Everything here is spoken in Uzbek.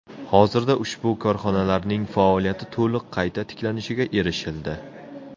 Hozirda ushbu korxonalarning faoliyati to‘liq qayta tiklanishiga erishildi.